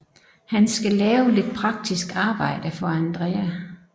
Han skal lave lidt praktisk arbejde for Andrea